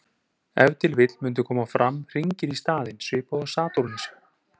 Ef til vill mundu koma fram hringir í staðinn, svipað og á Satúrnusi.